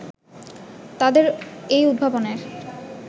তাদের এই উদ্ভাবনের